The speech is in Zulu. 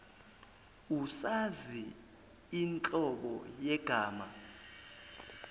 usazi inhlobo yegama